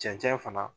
Cɛncɛn fana